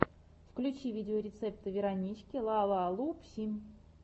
включи видеорецепты веронички лалалупси